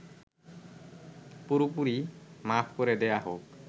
পুরোপুরি মাফ করে দেয়া হোক